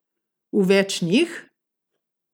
V več njih?